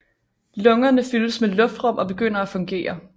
Lungerne fyldes med luftrum og begynder at fungere